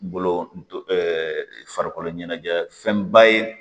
Bolo ɛɛ farikolo ɲɛnajɛ fɛnba ye